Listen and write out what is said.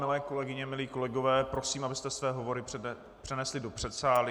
Milé kolegyně, milí kolegové, prosím, abyste své hovory přenesli do předsálí.